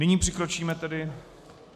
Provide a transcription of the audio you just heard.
Nyní přikročíme tedy ...